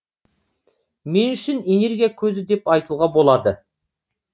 мен үшін энергия көзі деп айтуға болады